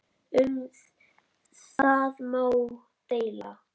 Um það má deila.